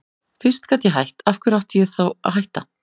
Fyrst ég gat hætt, af hverju átti ég þá að hætta?